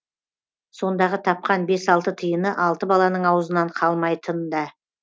сондағы тапқан бес алты тиыны алты баланың аузынан қалмайтын да